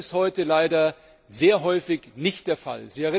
Das ist heute leider sehr häufig nicht der Fall.